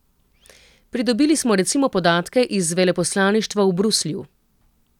Pridobili smo recimo podatke iz veleposlaništva v Bruslju.